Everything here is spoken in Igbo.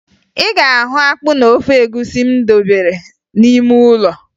Ị ga-ahụ akpụ na ofe egwusi m debere gị n'ime ụlọ